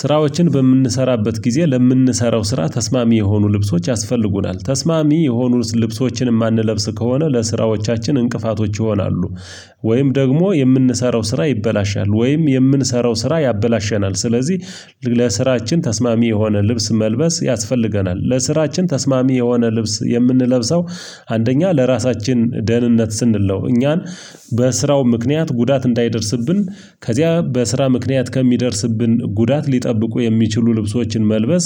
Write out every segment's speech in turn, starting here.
ስራዎችን በምንሰራበት ጊዜ ለምንሰራው ስራ ተስማሚ የሆኑ ልብሶች ያስፈልጉናል ተስማሚ የሆኑትን ልብሶችንም የማንለብስ ከሆነ ለስራዎቻችን እንቅፋቶች ይሆናሉ። ወይም ደግሞ የምንሰራው ስራ ይበላሻል ወይም የምንሰራው ስራ ያበላሸናል ስለዚህ ለስራችን ተስማሚ የሆነ ልብስ መልበስ ያስፈልገናል። ለስራችን ተስማሚ የሆነ ልብስ የምንለብሰው አንደኛ ለራሳችን ደህንነት ስንለው እኛን በስራው ምክንያት ጉዳት እንዳይደርስብን ከዚያ በስራ ምክንያት ከሚደርስብን ጉዳት ሊጠብቁ የሚችሉ ልብሶችን መልበስ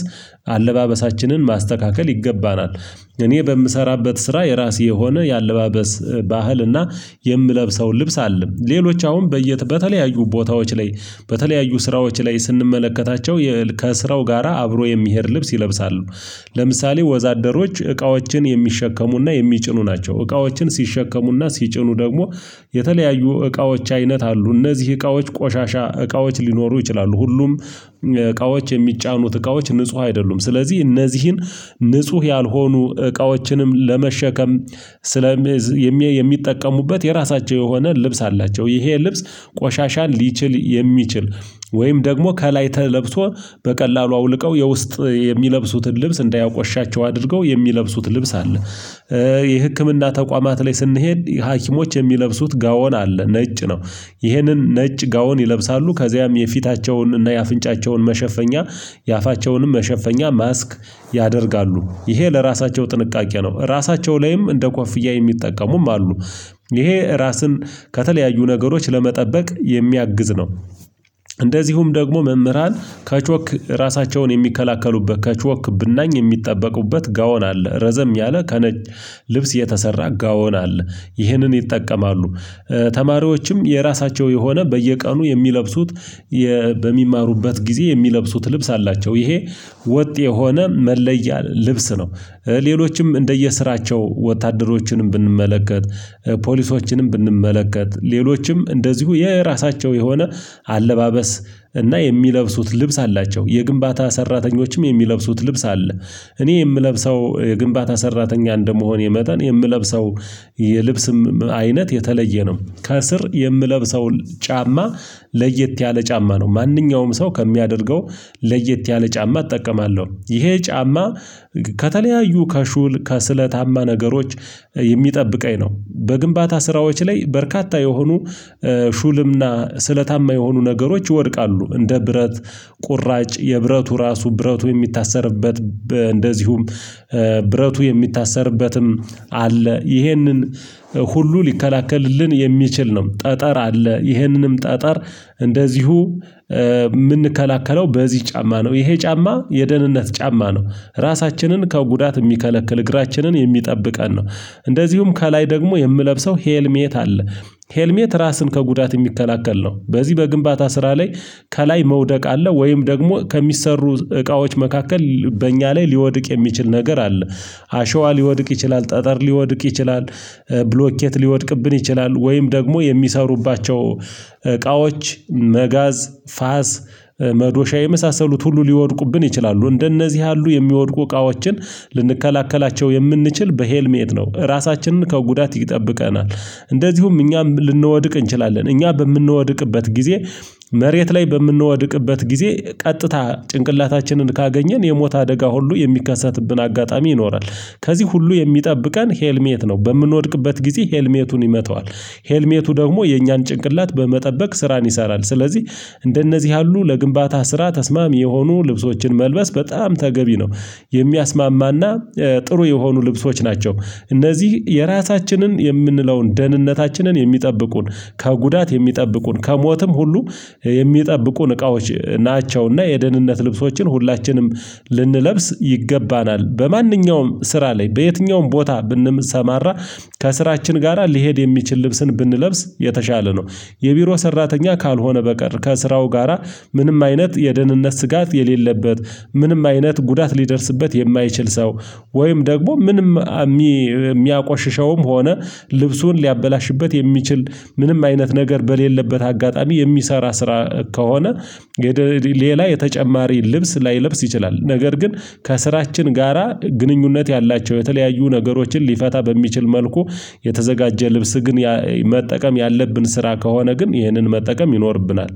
አለባበሳችንን ማስተካከል ይገባናል። እኔ በምሰራበት ስራ የራሴ የሆነ የአለባበስ ባህል እና የምለብሰው ልብስ አለኝ። ሌሎች አሁን በየተለያዩ ቦታዎች ላይ በተለያዩ ስራዎች ላይ ስንመለከታቸው ከስራው ጋራ አብሮ የሚሄድ ልብስ ይለብሳሉ። ለምሳሌ ወዛደሮች እቃዎችን የሚሸከሙና የሚጭኑ ናቸው። እቃዎችን ሲሸከሙና ሲጭኑ ደግሞ የተለያዩ እቃዎች አይነት አሉ። እነዚህ እቃዎች ቆሻሻ እቃዎች ሊኖሩ ይችላሉ ሁሉም እቃዎች የሚጫኑት እቃዎች ንጹህ አይደሉም። ስለዚህ እነዚህን ንጹህ ያልሆኑ እቃዎችንም ለመሸከም ስለ የሚጠቀሙበት የራሳቸው የሆነ ልብስ አላቸው። ይሄ ልብስ ቆሻሻን ሊችል የሚችል ወይም ደግሞ ከላይ ተለብሶ በቀላሉ አውልቀው የውስጥ የሚለብሱትን ልብስ እንዳያቆሻቸው አድርገው የሚለብሱት ልብስ አለ። የህክምና ተቋማት ላይ ስንሄድ ሀኪሞች የሚለብሱት ጋውን አለ ነጭ ነው። ይህንን ነጭ ጋውን ይለብሳሉ ከዚያም የፊታቸውንና የአፍንጫቸውን መሸፈኛ የአፋቸውንም መሸፈኛ ማስክ ያደርጋሉ ይሄ ለራሳቸው ጥንቃቄ ነው። ራሳቸው ላይም እንደ ኮፍያ የሚጠቀሙም አሉ። ይሄ ራስን ከተለያዩ ነገሮች ለመጠበቅ የሚያግዝ ነው። እንደዚሁም ደግሞ መምህራን ከቾክ ራሳቸውን የሚከላከሉበት ከቾክ ብናኝ የሚጠበቁበት ጋውን አለ። ረዘም ያለ ከነጭ ልብስ የተሰራ ጋውን አለ ይህንን ይጠቀማሉ። ተማሪዎችም የራሳቸው የሆነ በየቀኑ የሚለብሱት በሚማሩበት ጊዜ የሚለብሱት ልብስ አላቸው። ይሄ ወጥ የሆነ መለያ ልብስ ነው። ሌሎችም እንደየስራቸው ወታደሮችንም ብንመለከት ፖሊሶችንም ብንመለከት ሌሎችም እንደዚሁ የራሳቸው የሆነ አለባበስ እና የሚለብሱት ልብስ አላቸው። የግንባታ ሰራተኞችም የሚለብሱት ልብስ አለ። እኔ የምለብሰው የግንባታ ሰራተኛ እንደመሆኔ መጠን የምለብሰው የልብስም አይነት የተለየ ነው። ከስር የምለብሰው ጫማ ለየት ያለ ጫማ ነው። ማንኛውም ሰው ከሚያደርገው ለየት ያለ ጫማ እጠቀማለሁ። ይሄ ጫማ ከተለያዩ ከሹል ከስለታማ ነገሮች የሚጠብቀኝ ነው። በግንባታ ስራዎች ላይ በርካታ የሆኑ ሹልምና ስለታማ የሆኑ ነገሮች ይወድቃሉ እንደ ብረት ቁራጭ የብረቱ ራሱ ብረቱ የሚታሰርበት እንደዚሁም ብረቱ የሚታሰርበትም አለ ይሄንን ሁሉ ሊከላከልልን የሚችል ነው። ጠጠር አለ ይሄንንም ጠጠር እንደዚሁ የምንከላከለው በዚህ ጫማ ነው። ይሄ ጫማ የደህንነት ጫማ ነው። ራሳችንን ከጉዳት የሚከለክል እግራችንን የሚጠብቀን ነው። እንደዚሁም ከላይ ደግሞ የምለብሰው ሄልሜት አለ። ሄልሜት ራስን ከጉዳት የሚከላከል ነው። በዚህ በግንባታ ስራ ላይ ከላይ መውደቅ አለ ወይም ደግሞ ከሚሰሩ እቃዎች መካከል በእኛ ላይ ሊወድቅ የሚችል ነገር አለ። አሸዋ ሊወድቅ ይችላል ጠጠር ሊወድቅ ይችላል። ብሎኬት ሊወድቅብን ይችላል ወይም ደግሞ የሚሰሩባቸው እቃዎች መጋዝ ፋስ መዶሻ የመሳሰሉት ሁሉ ሊወድቁብን ይችላሉ። እንደነዚህ ያሉ የሚወድቁ እቃዎችን ልንከላከላቸው የምንችል በሄልሜት ነው ራሳችንን ከጉዳት ይጠብቀናል። እንደዚሁም እኛም ልንወድቅ እንችላለን እኛ በምንወድቅበት ጊዜ መሬት ላይ በምንወድቅበት ጊዜ ቀጥታ ጭንቅላታችንን ካገኘን የሞት አደጋ ሁሉ የሚከሰትብን አጋጣሚ ይኖራል። ከዚህ ሁሉ የሚጠብቀን ሄልሜት ነው። በምንወድቅበት ጊዜ ሄልሜቱን ይመታዋል ሄልሜቱ ደግሞ የእኛን ጭንቅላት በመጠበቅ ስራን ይሰራል። ስለዚህ እንደነዚህ ያሉ ለግንባታ ስራ ተስማሚ የሆኑ ልብሶችን መልበስ በጣም ተገቢ ነው። የሚያስማማና ጥሩ የሆኑ ልብሶች ናቸው። እነዚህ የራሳችንን የምንለውን ደህንነታችንን የሚጠብቁን ከጉዳት የሚጠብቁን ከሞትም ሁሉ የሚጠብቁን እቃዎች ናቸውና የደህንነት ልብሶችን ሁላችንም ልንለብስ ይገባናል። በማንኛውም ስራ ላይ በየትኛውም ቦታ ብንሰማራ ከስራችን ጋራ ሊሄድ የሚችል ልብስን ብንለብስ የተሻለ ነው። የቢሮ ሰራተኛ ካልሆነ በቀር ከስራው ጋራ ምንም አይነት የደህንነት ስጋት የሌለበት ምንም አይነት ጉዳት ሊደርስበት የማይችል ሰው ወይም ደግሞ ምንም የሚያቆሽሸውም ሆነ ልብሱን ሊያበላሽበት የሚችል ምንም አይነት ነገር በሌለበት አጋጣሚ የሚሰራ ስራ ከሆነ ሌላ የተጨማሪ ልብስ ላይለብስ ይችላል። ነገር ግን ከስራችን ጋራ ግንኙነት ያላቸው የተለያዩ ነገሮችን ሊፈታ በሚችል መልኩ የተዘጋጀ ልብስ ግን መጠቀም ያለብን ስራ ከሆነ ግን ይህንን መጠቀም ይኖርብናል።